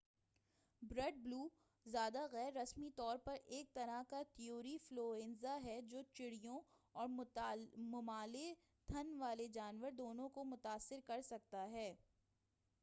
Bird flu, زیادہ غیر رسمی طور پر ایک طرح کا طیوری فلوئنزا ہے، جو چڑیوں اور ممالیے تھن والے جانور دونوں کو متاثر کرسکتا ہے۔